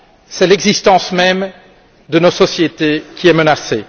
c'est l'existence même de nos sociétés qui est menacée.